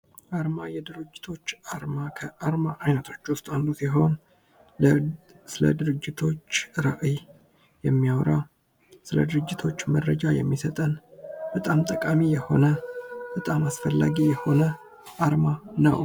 ዓርማ የድርጅቶች አርማ ከአርማ ዓይነቶች ውስጥ አንዱ ሲሆን ፤ ስለ ድርጅቶች ራዕይ የሚያወራ ስለ ድርጅቶች መረጃ የሚሰጠን በጣም ጠቃሚ የሆነ በጣም አስፈላጊ የሆነ አርማ ነው።